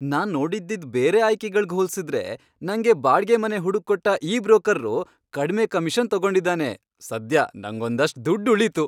ನಾನ್ ನೋಡಿದ್ದಿದ್ ಬೇರೆ ಆಯ್ಕೆಗಳ್ಗ್ ಹೋಲ್ಸಿದ್ರೆ ನಂಗೆ ಬಾಡ್ಗೆ ಮನೆ ಹುಡುಕ್ಕೊಟ್ಟ ಈ ಬ್ರೋಕರ್ರು ಕಡ್ಮೆ ಕಮಿಷನ್ ತಗೊಂಡಿದಾನೆ, ಸದ್ಯ ನಂಗೊಂದಷ್ಟ್ ದುಡ್ಡ್ ಉಳೀತು.